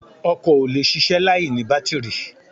Ọkọ̀ ò lè ṣiṣẹ́ láìní bátìrì